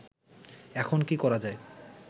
এখন কি করা যায়